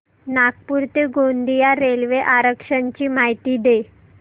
नागपूर ते गोंदिया रेल्वे आरक्षण ची माहिती दे